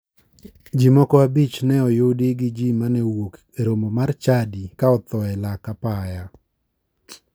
Ji moko abich ne oyudi gi ji mane owuok e romo mar chadi ka otho e lak apaya.